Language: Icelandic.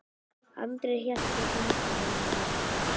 Andri hélt í hendina á henni.